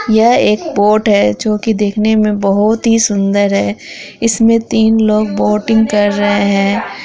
यह एक बॉट है जो कि देखने मे बहुत ही सुंदर है इसमे तीन लोग बोटिंग कर रहे हैं।